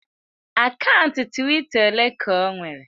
Akaụntụ Twitter ole ka o nwere?